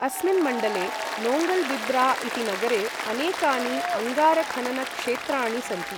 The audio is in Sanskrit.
अस्मिन् मण्डले नोङ्गल्बिब्रा इति नगरे अनेकानि अङ्गारखननक्षेत्राणि सन्ति।